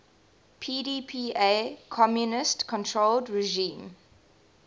pdpa communist controlled regime